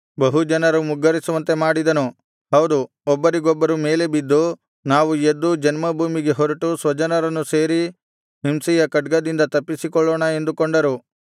ಬಹು ಜನರು ಮುಗ್ಗರಿಸುವಂತೆ ಮಾಡಿದನು ಹೌದು ಒಬ್ಬರಿಗೊಬ್ಬರು ಮೇಲೆ ಬಿದ್ದು ನಾವು ಎದ್ದು ಜನ್ಮಭೂಮಿಗೆ ಹೊರಟು ಸ್ವಜನರನ್ನು ಸೇರಿ ಹಿಂಸೆಯ ಖಡ್ಗದಿಂದ ತಪ್ಪಿಸಿಕೊಳ್ಳೋಣ ಎಂದುಕೊಂಡರು